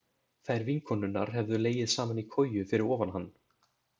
Þær vinkonurnar hefðu legið saman í koju fyrir ofan hann.